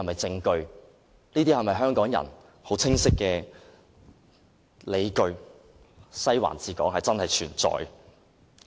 這些都是香港人清晰的理據，"西環治港"確實存在。